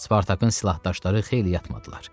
Spartakın silahdaşları xeyli yatmadılar.